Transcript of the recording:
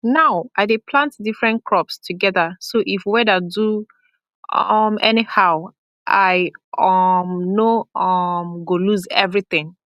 now i dey plant different crops together so if weather do um anyhow i um no um go lose everything